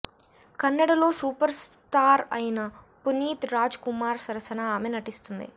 కన్నడలో superstar అయిన Puneeth Rajkumar సరసన ఆమె నటిస్తుంది